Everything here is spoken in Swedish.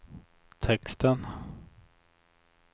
texten